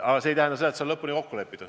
Aga see ei tähenda, et see on lõpuni kokku lepitud.